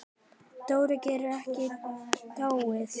Dóri gat ekki dáið.